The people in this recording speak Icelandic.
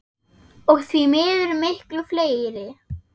Og því miður miklu fleiri.